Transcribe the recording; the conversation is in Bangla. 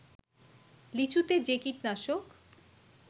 লিচুতে যে কীটনাশক